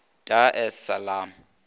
dar es salaam